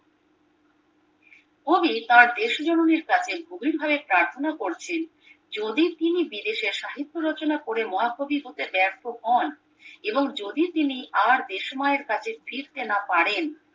কবি তার দেশ জননীর কাছে গভীর ভাবে প্রার্থনা করছেন যদি তিনি বিদেশে সাহিত্য রচনা করে মহাকবি হতে ব্যর্থ হন এবং যদি তিনি আর দেশমায়ের কাছে ফিরতে না পারেন